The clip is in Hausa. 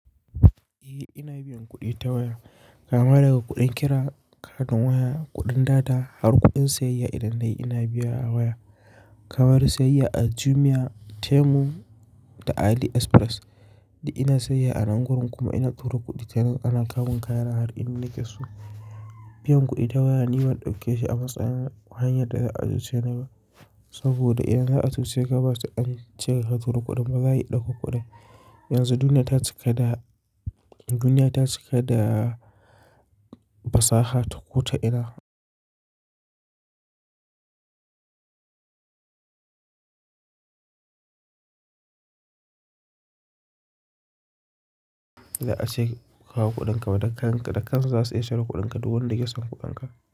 Eh ina biyan kuɗi ta waya kama daga kuɗin kira, katin waya, kuɗin data har kuɗin siyayya idan nayi ina biya a waya. Kamar siyayya a Jumia, Temu da AliExpress da ina sayayya a nan gurin kuma ina tura kuɗi ta nan ana kamun kayana har in nika su. Biyan kuɗi ta waya ni ban ɗauke shi a matsayin hanyar da za a cuce ni ba saboda idan za a cuce ka bata an ce ka tura kuɗin ba za a yi ɗauko kuɗi. Yanzu duniya ta cika da, duniya ta cika da fasaha ta kota ina za a ce kawo kuɗinka waɗannan kan ka da kansu za su iya share kuɗinka duk wanda yake son kuɓanka.